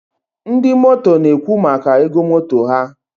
ndị motor na-ekwu maka ego motor ha.